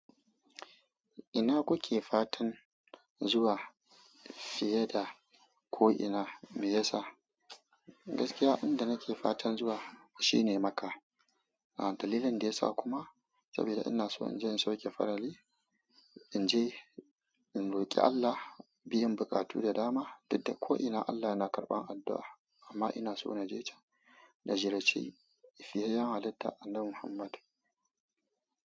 Ina kuke fatan zuwa fiye da ko ina? Me yasa? Gaskiya abinda nake fatan zuwa shine Makka. Dalilin da yasa kuma saboda ina so in je in sauke farali, in je in roki Allah biyan buƙatu da dama, dukda ko ina Allah yana karɓan addu'a amma ina so na je can da jirace fiyeyyan halitta Annabi Muhammad.